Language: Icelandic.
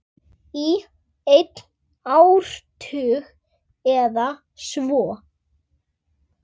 Í einn áratug eða svo.